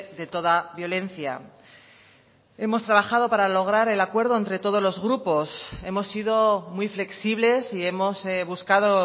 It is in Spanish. de toda violencia hemos trabajado para lograr el acuerdo entre todos los grupos hemos sido muy flexibles y hemos buscado